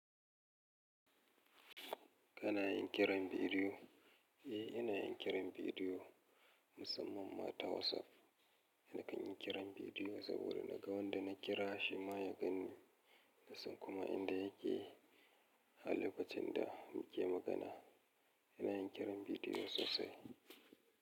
Kana yin kiran bidiyo? Eh, ina yin kiran bidiyo, musamman ma ta WhatsApp. Na kan yi kiran bidiyo saboda na ga wanda na kira shi ma ya ganni, nasan kuma inda yake a lokacin da muke magana. Ina yin kiran bidiyo sosai.